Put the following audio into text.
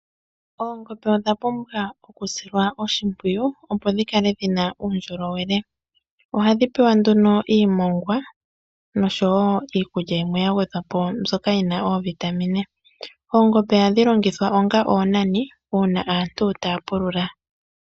Oongombe odha pumbwa oku silwa oshimpwiyu opo dhi kale dhi na uundjolowele. Ohadhi pewa nduno iimongwa nosho wo iikulya yimwe ya gwedhwa po mbyoka yina oovitamine. Oongombe ohadhi longithwa onga oonani uuna aantu taya pulula.